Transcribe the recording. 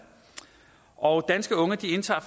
og danske unge indtager